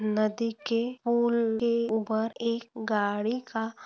नदी के पूल के ऊपर एक गाड़ी का--